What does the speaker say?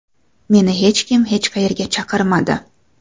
Meni hech kim hech qayerga chaqirmadi.